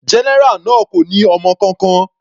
General náà kò ní ọmọ kankan.